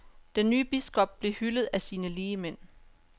Den nye biskop blev hyldet af sine ligemænd.